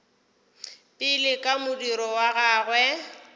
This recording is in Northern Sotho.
pele ka modiro wa gagwe